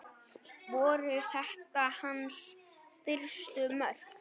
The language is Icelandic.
Voru þetta hans fyrstu mörk?